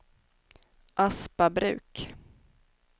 Aspabruk